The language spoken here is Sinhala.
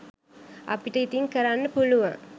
අපිට ඉතින් කරන්න පුළුවන්